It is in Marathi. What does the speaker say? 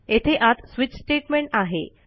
येथे आत स्विच स्टेटमेंट आहे